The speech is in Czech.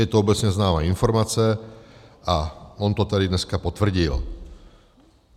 Je to obecně známá informace a on to tady dneska potvrdil.